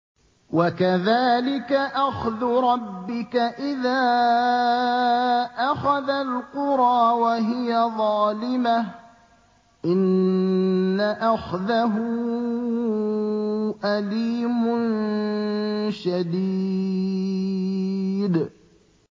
وَكَذَٰلِكَ أَخْذُ رَبِّكَ إِذَا أَخَذَ الْقُرَىٰ وَهِيَ ظَالِمَةٌ ۚ إِنَّ أَخْذَهُ أَلِيمٌ شَدِيدٌ